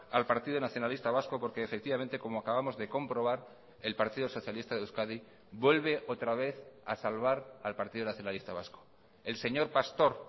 al partido nacionalista vasco porque efectivamente como acabamos de comprobar el partido socialista de euskadi vuelve otra vez a salvar al partido nacionalista vasco el señor pastor